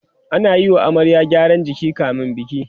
ana Yi wa amaryar gyaran jiki kamin biki